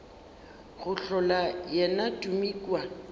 go hlola yena tumi kua